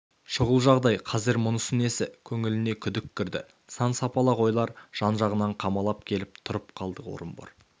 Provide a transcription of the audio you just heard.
шұғыл жағдай қазір мұнысы несі көңіліне күдік кірді сан-сапалақ ойлар жан-жағынан қамалап келіп тұрып қалды орынбор